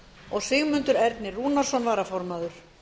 og sigmundur ernir rúnarsson varaformaður